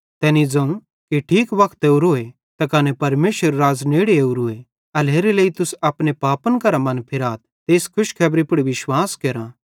तैनी ज़ोवं कि ठीक वक्त ओरोए त कने परमेशरेरू राज़ नेड़े ओरूए एल्हेरेलेइ तुस अपने पापन करां मनफिराथ ते एस खुशखेबरी पुड़ विश्वास केरा